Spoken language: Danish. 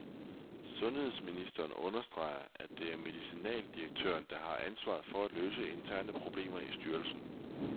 Sundhedsministeren understreger, at det er medicinaldirektøren, der har ansvaret for at løse interne problemer i styrelsen.